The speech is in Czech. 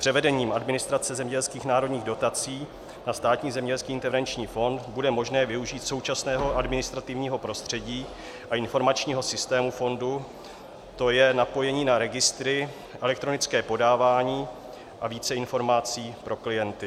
Převedením administrace zemědělských národních dotací na Státní zemědělský intervenční fond bude možné využít současného administrativního prostředí a informačního systému fondu, to je napojení na registry, elektronické podávání a více informací pro klienty.